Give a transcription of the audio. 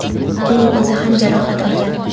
uning o‘zi ham jarohat olgan.